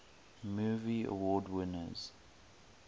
movie award winners